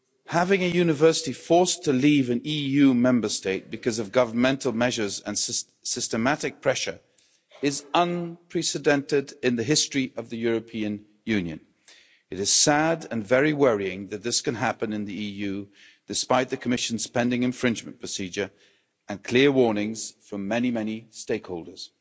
Having a university forced to leave an EU Member State because of governmental measures and systematic pressure is unprecedented in the history of the European Union. It is sad and very worrying that this can happen in the EU, despite the Commission's pending infringement procedure and clear warnings from many, many stakeholders.